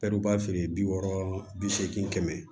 feere bi wɔɔrɔ bi seegin kɛmɛ